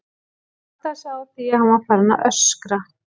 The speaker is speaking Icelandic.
Hann áttaði sig á því að hann var farinn að öskra.